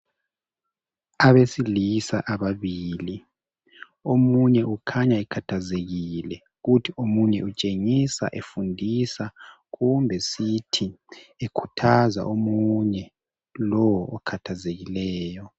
Abesilisa ababili omunye ukhanya ekhathazekile kuthi omunye utshengisa efundisa kumbe sithi ekhuthaza omunye lowo okhathazekileyo.